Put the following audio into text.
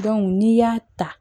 n'i y'a ta